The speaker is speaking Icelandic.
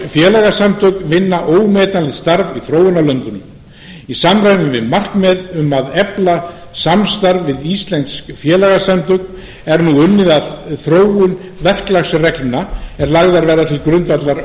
frjáls félagasamtök vinna ómetanlegt starf í þróunarlöndum í samræmi við markmið um að efla samstarf við íslensk félagasamtök er nú unnið að þróun verklagsreglna er lagðar verða til grundvallar